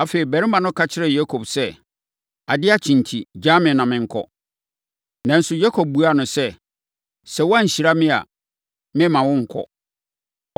Afei, ɔbarima no ka kyerɛɛ Yakob sɛ, “Adeɛ akye enti, gyaa me ma menkɔ.” Nanso, Yakob buaa no sɛ, “Sɛ woanhyira me a, meremma wonkɔ.”